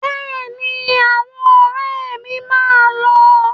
Bẹ́ẹ̀ni, àwọn ọ̀rẹ́ mi máa lọ.